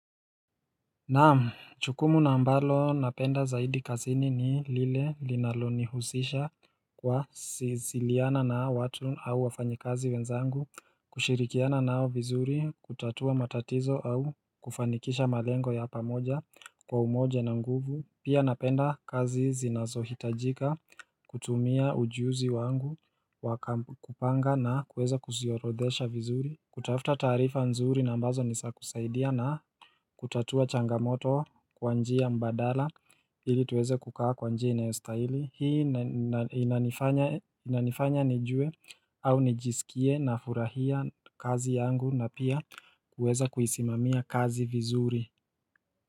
Naam chukumu na ambalo napenda zaidi kazini ni lile linalo nihusisha kwa siziliana na watu au wafanyi kazi wenzangu kushirikiana nao vizuri kutatua matatizo au kufanikisha malengo ya pamoja kwa umoja na nguvu pia napenda kazi zinazohitajika kutumia ujuzi wangu wakamupanga na kuweza kuziorodhesha vizuri kutafuta tarifa nzuri na ambazo nisa kusaidia na kutatua changamoto kwa njia mbadala ili tuweze kukaa kwa njia inayostahili Hii inanifanya nijue au nijisikie na furahia kazi yangu na pia kuweza kuisimamia kazi vizuri.